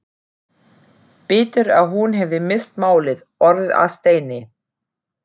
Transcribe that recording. Betur að hún hefði misst málið, orðið að steini.